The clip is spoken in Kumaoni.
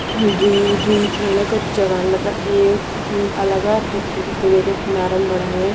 दुई दुई खेलण का जगहन मतलब एक अलग हकु भी वैका किनारा बणाया।